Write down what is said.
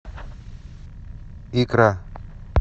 икра